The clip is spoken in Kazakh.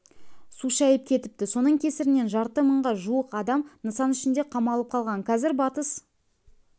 су шайып кетіпті соның кесірінен жарты мыңға жуық адам нысан ішінде қамалып қалған қазір батыс